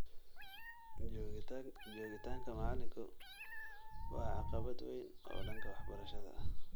Joogitaanka macalinku waa caqabad weyn oo dhanka waxbarashada ah.